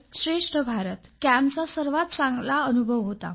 श्रेष्ठ भारत कॅम्प सर्वात चांगला अनुभव होता